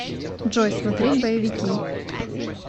джой смотреть боевики